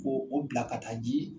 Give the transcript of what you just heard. Ko o bila ka taa ji